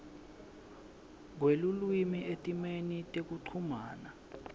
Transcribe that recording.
kwelulwimi etimeni tekuchumana